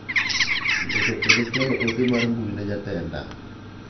Ndiko kendo chualo ote mar mbui ne jatenda.